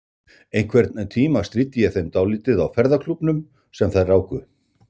Einhvern tíma stríddi ég þeim dálítið á ferðaklúbbnum sem þær ráku.